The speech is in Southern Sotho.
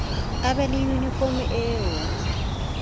a be le yunifomo eo